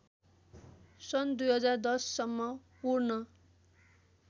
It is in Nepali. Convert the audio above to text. सन् २०१०सम्म पूर्ण